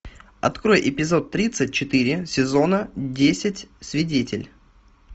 открой эпизод тридцать четыре сезона десять свидетель